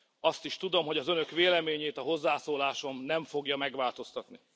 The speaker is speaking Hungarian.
Azt is tudom, hogy az Önök véleményét a hozzászólásom nem fogja megváltoztatni.